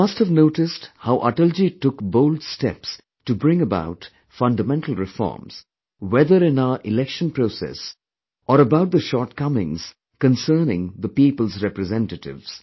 You must have noticed how Atalji took bold steps to bring about fundamental reforms, whether in our election process or about the shortcomings concerning the people's representatives